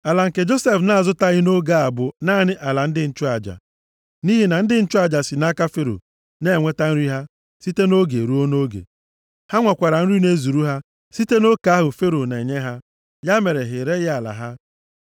Ala nke Josef na-azụtaghị nʼoge a bụ naanị ala ndị nchụaja. Nʼihi na ndị nchụaja si nʼaka Fero na-enweta nri ha site nʼoge ruo nʼoge. Ha nwekwara nri na-ezuru ha site na oke ahụ Fero na-enye ha. Ya mere ha ereghị ala ha.